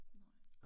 Nej